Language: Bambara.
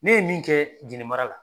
Ne ye min kɛ ɛnɛ mara la